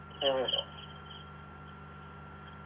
ആ